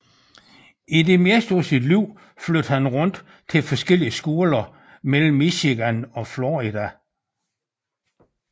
I det meste af sit liv flyttede han rundt til forskellige skoler mellem Michigan og Florida